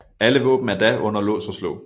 Alle våben er da under lås og slå